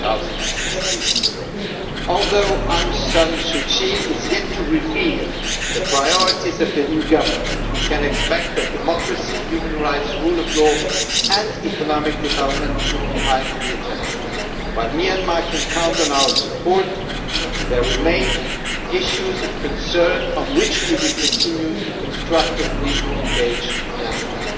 2016. Although Aung San Suu Kyi has yet to reveal the priorities of the new government, we can expect that democracy, human rights, the rule of law and economic development will be high on the agenda. While Myanmar can count on our support, there are still issues of concern on which we will continue to constructively engage with Myanmar.